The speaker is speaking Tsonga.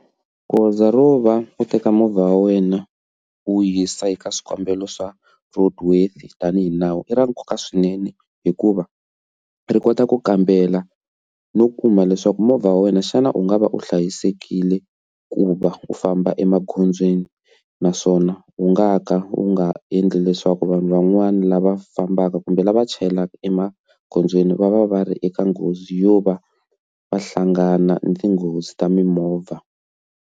Goza ro va u teka movha wa wena wu yisa eka swikambelo swa road worthy tanihi nawu i ra nkoka swinene hikuva ri kota ku kambela no kuma leswaku movha wa wena xana u nga va u hlayisekile ku va u famba emagondzweni naswona wu nga ka wu nga endli leswaku vanhu van'wana lava fambaka kumbe lava chayelaka emagondzweni va va va ri eka nghozi yo va va hlangana na tinghozi ta mimovha.